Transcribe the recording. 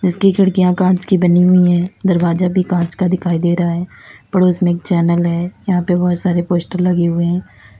इसकी खिड़कियां कांच की बनी हुई हैं दरवाजा भी कांच का दिखाई दे रहा है पड़ोस में एक चैनल है यहां पे बहुत सारे पोस्टर लगे हुए हैं।